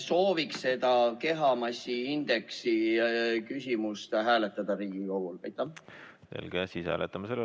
Soovin seda kehamassiindeksi küsimust lasta Riigikogul hääletada.